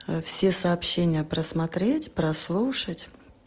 все сообщения просмотреть прослушать